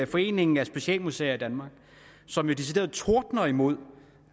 foreningen af specialmuseer i danmark som jo decideret tordner imod